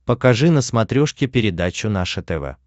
покажи на смотрешке передачу наше тв